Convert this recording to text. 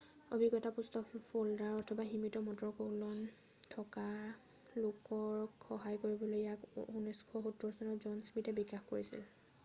অভিজ্ঞতাপুষ্ট folder অথবা সীমিত motor কৌলন থকা লোকক সহায় কৰিবলৈ ইয়াক 1970 চনত জন স্মিথে বিকাশ কৰিছিল